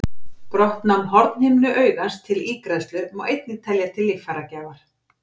Brottnám hornhimnu augans til ígræðslu má einnig telja til líffæragjafar.